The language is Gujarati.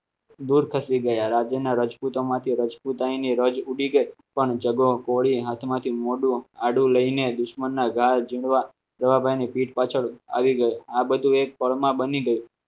દૂર ખસી ગયા રાજીના રાજપુતોમાંથી રાજપુતાની રજ ફૂટી ગઈ પણ જગો કોળી હાથમાંથી મોઢું આડું લઈને દુશ્મનના જવાબ અને પીઠ પાછળ આવી ગયો આ બધું એક ફળમાં બની ગયું